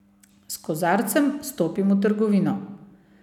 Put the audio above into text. S kozarcem stopim v trgovino.